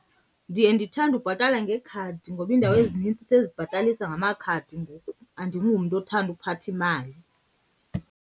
Ndiye ndithande ubhatala ngekhadi ngoba iindawo ezinintsi sezibhatalisa ngamakhadi ngoku. Andingumntu othanda uphatha imali.